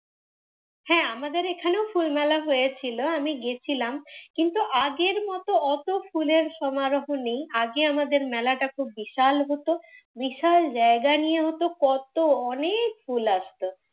হ্যাঁ আমাদের এই খানেও ফুল মেলা হয়েছিলো, আমি গেছিলাম। কিন্তু আগের মত অত ফুলের সমারোহ নেই। আগে আমাদের মেলাটা খুব বিশাল হতো, বিশাল জায়গা নিয়ে হতো। কত অনেক ফুল আসতো।